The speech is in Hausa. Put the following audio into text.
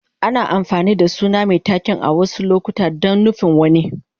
Ana amfani da suna mai taken a wasu lokuta don nufin wani.